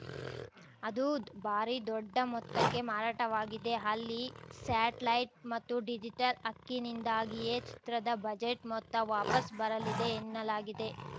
ಅದೂ ಭಾರಿ ದೊಡ್ಡ ಮೊತ್ತಕ್ಕೆ ಮಾರಾಟವಾಗಿದೆ ಅಲ್ಲಿ ಸ್ಯಾಟಲೈಟ್‌ ಮತ್ತು ಡಿಜಿಟಲ್‌ ಹಕ್ಕಿನಿಂದಾಗಿಯೇ ಚಿತ್ರದ ಬಜೆಟ್‌ ಮೊತ್ತ ವಾಪಸ್‌ ಬರಲಿದೆ ಎನ್ನಲಾಗಿದೆ